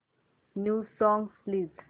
new songs please